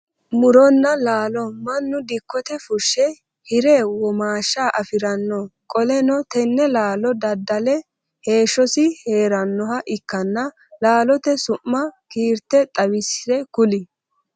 Muronna laallo mannu dikkote fushe hire womaasha afiranno qoleno tenne laallo dada'le heeshosi heeranoha ikanna laallote su'ma kiirte xawise kuli?